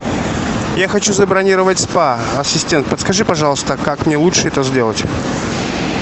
я хочу забронировать спа ассистент подскажи пожалуйста как мне лучше это сделать